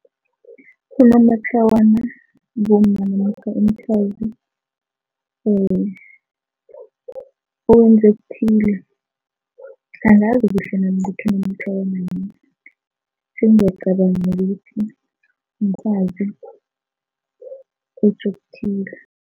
Unomatlawana bomma namkha umfazi okuthile angazi kuhle nami ukuthi unomatlawana yini, sengiyacabanga ukuthi mfazi okuthile.